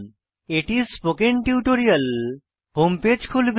এটি spoken tutorial home page খুলবে